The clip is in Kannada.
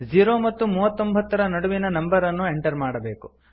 ಝೀರೋ ಮತ್ತು ಮೂವತ್ತೊಂಭತ್ತರ ನಡುವಿನ ನಂಬರ್ ಅನ್ನು ಎಂಟರ್ ಮಾಡಬೇಕು